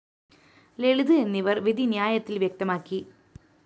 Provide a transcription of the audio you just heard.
ലളിത് എന്നിവര്‍ വിധിന്യായത്തില്‍ വ്യക്തമാക്കി